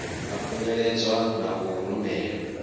a khunyeledzwa na u rumelwa